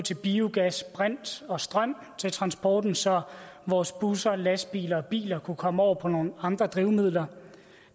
biogas brint og strøm til transporten så vores busser lastbiler og biler kunne komme over på nogle andre drivmidler